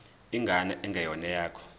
ingane engeyona eyakho